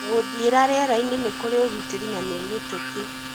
Gũthiĩra riera-inĩ nĩ kũrĩ ũgitĩri na nĩ mĩtũkĩ.